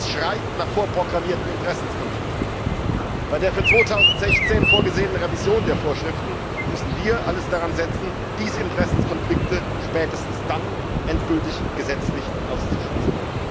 Das schreit nach vorprogrammierten Interessenkonflikten. Bei der für 2016 vorgesehenen Revision der Vorschriften müssen wir alles daran setzen, diese Interessenkonflikte spätestens dann endgültig gesetzlich auszuschließen.